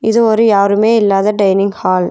இது ஒரு யாருமே இல்லாத டைனிங் ஹால் .